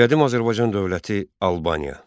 Qədim Azərbaycan dövləti Albaniya.